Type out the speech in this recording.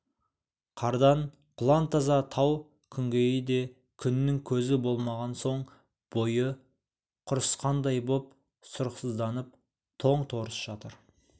қардан құлантаза тау күнгейі де күннің көзі болмаған соң бойы құрысқандай боп сұрықсызданып тоң-торыс жатыр